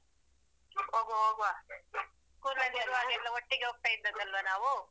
ಹೋಗುವ ಹೋಗುವ. school ಅಲ್ಲಿ ಇರುವಾಗ ಎಲ್ಲ ಒಟ್ಟಿಗೆ ಹೋಗ್ತಿದ್ದದ್ದಲ್ವಾ ನಾವು.